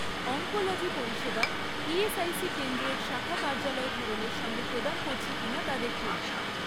Oncology পরিষেবা ESIC কেন্দ্রের শাখা কার্যালয় ধরনের সঙ্গে প্রদান করছে কিনা তা দেখুন।